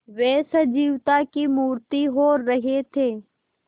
वे सजीवता की मूर्ति हो रहे थे